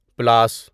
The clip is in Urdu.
پُلاس